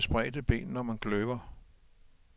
Man skal altid stå med spredte ben, når man kløver.